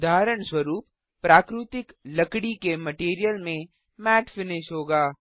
उदाहरणस्वरुप प्राकृतिक लकड़ी के मटैरियल में मैट फिनिश होगा